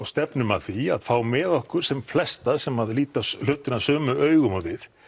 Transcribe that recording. stefnum að því að fá með okkur sem flesta sem að líta hlutina sömu augum og við